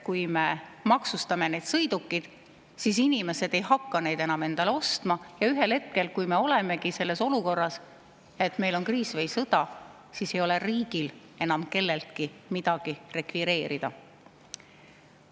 Kui me maksustame need sõidukid, siis inimesed ei hakka enam endale sõidukeid ostma ja ühel hetkel, kui me olemegi selles olukorras, et meil on kriis või sõda, siis ei ole riigil enam kelleltki midagi rekvireerida.